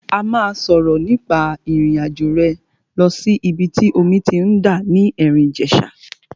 A máa sọ̀rọ̀ nípa ìrìn àjò rẹ lọ sí ìbi tí omi ti ń dà ní Erin Ijesa.